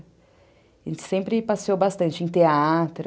A gente sempre passeou bastante em teatro.